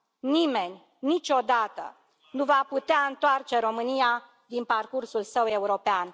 Nimeni, niciodată, nu va putea întoarce România din parcursul său european.